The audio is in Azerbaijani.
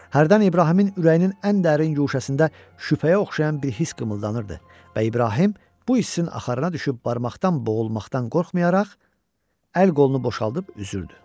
Hərdən İbrahimin ürəyinin ən dərin guşəsində şübhəyə oxşayan bir hiss qımıldanırdı və İbrahim bu hissin axarına düşüb barmaqdan boğulmaqdan qorxmayaraq, əl qolunu boşaldıb üzürdü.